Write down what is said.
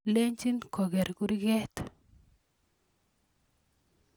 lenjin koker kurget